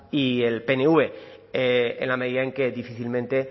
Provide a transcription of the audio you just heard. y el pnv en la medida en que difícilmente